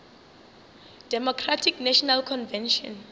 democratic national convention